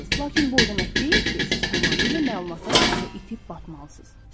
Lakin bu o demək deyil ki, siz tamamilə məlumatlar içində itib batmalısız.